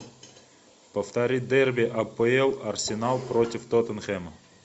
повтори дерби апл арсенал против тоттенхэма